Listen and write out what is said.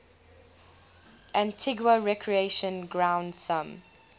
antigua recreation ground thumb